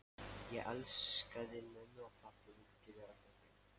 Ég elskaði mömmu og pabba og vildi vera hjá þeim.